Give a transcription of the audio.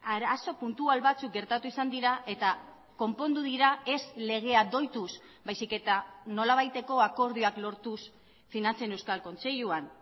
arazo puntual batzuk gertatu izan dira eta konpondu dira ez legea doituz baizik eta nolabaiteko akordioak lortuz finantzen euskal kontseiluan